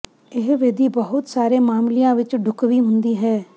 ਇਹ ਵਿਧੀ ਬਹੁਤ ਸਾਰੇ ਮਾਮਲਿਆਂ ਵਿੱਚ ਢੁਕਵੀਂ ਹੁੰਦੀ ਹੈ